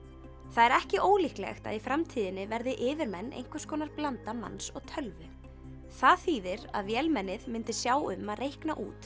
það er ekki ólíklegt að í framtíðinni verði yfirmenn einhvers konar blanda manns og tölvu það þýðir að vélmennið myndi sjá um að reikna út